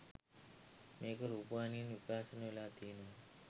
මේක රූපවාහිනියෙත් විකාශය වෙලා තියෙනවා